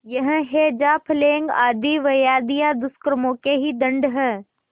यह हैजाप्लेग आदि व्याधियाँ दुष्कर्मों के ही दंड हैं